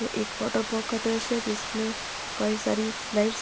ये एक water park का दॄश्य है जिसमे कई सारी स्लाइड्स --